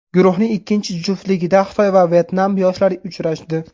Guruhning ikkinchi juftligida Xitoy va Vyetnam yoshlari uchrashdi.